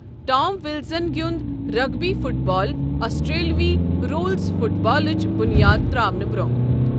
Tom Wilson گیُنٛد rugby football آسٹریلوی rules فٹ بالٕچ بنیاد تراونہٕ برونٛہہ۔